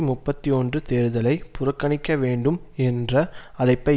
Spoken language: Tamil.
முப்பத்தி ஒன்று தேர்தலை புறக்கணிக்க வேண்டும் என்ற அழைப்பை